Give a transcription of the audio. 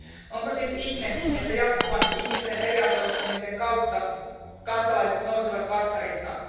Onko siis ihme, että jatkuvan ihmisten eriarvoistamisen kautta kansalaiset nousevat vastarintaan?